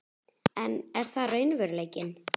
En er það raunveruleikinn?